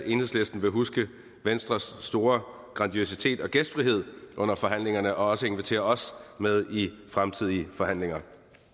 enhedslisten vil huske venstres store grandiositet og gæstfrihed under forhandlingerne og også invitere os med i fremtidige forhandlinger